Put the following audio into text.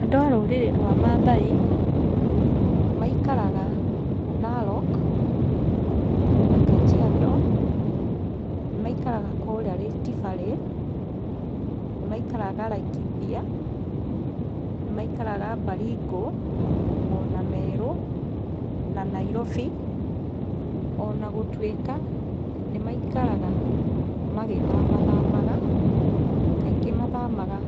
Andũ a rũrĩrĩ rwa Mathai, maikaraga Narok, na Kajiado, nĩ maikaraga kũrĩa Rift Valley, nĩ maikaraga Laikipia, nĩ maikaraga Baringo, ona Meru na Nairobi, ona gũtuĩka nĩ maikaraga magĩthamathamaga, kaingĩ mathamaga